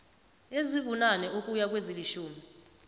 ezibunane ukuya kwezilitjhumi